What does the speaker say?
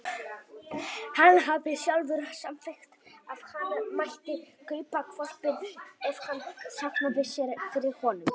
Hann hafði sjálfur samþykkt að hann mætti kaupa hvolpinn ef hann safnaði sér fyrir honum.